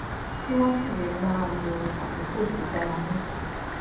kí wón sì lè máa lo àkókò tó dára níta